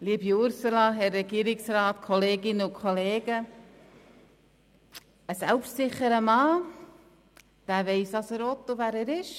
Liebe Ursula Zybach, Herr Regierungsrat, Kolleginnen und Kollegen, ein selbstsicherer Mann weiss, was er will und wer er ist.